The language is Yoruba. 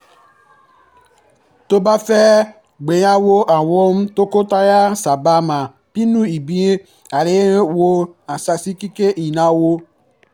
tó bá fẹ́ gbéyàwó àwọn tọkọtaya sábà máa pinnu ibi ayẹyẹ wọ́n á sì ṣàkíyèsí ináwó